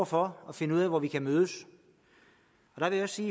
for at finde ud af hvor man kan mødes jeg vil også